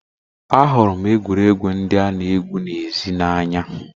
Ahụrụ m egwuregwu ndị a-na egwu n'èzí n'anya.